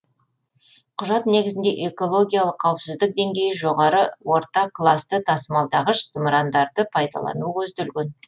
құжат негізінде экологиялық қауіпсіздік деңгейі жоғары орта класты тасымалдағыш зымырандарды пайдалану көзделген